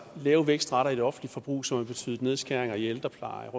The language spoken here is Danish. lave vækstrater i det offentlige forbrug som har betydet nedskæringer i ældreplejen